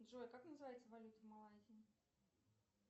джой как называется валюта малайзии